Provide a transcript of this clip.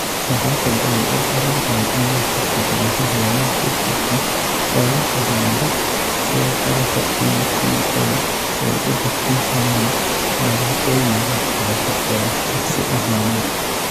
Waxa kale oo ay u badan tahay in ay suurtageliso horumar degdeg ah oo la xidhiidha sida qalabka DPL ay u bixin karaan dariiqooyin waxbarasho oo shakhsi ahaaneed.